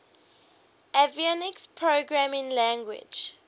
avionics programming language